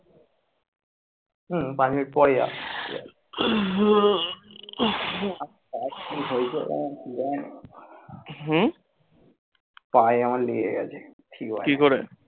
হম, পাঁচ মিনিট পরে যাস। পায়ে আমার লেগে গেছে